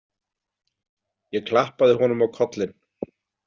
Ég klappaði honum á kollinn.